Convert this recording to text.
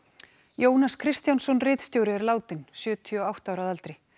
Jónas Kristjánsson ritstjóri er látinn sjötíu og átta ára að aldri